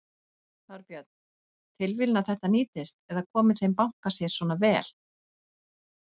Þorbjörn: Tilviljun að þetta nýtist eða komi þeim banka sér svona vel?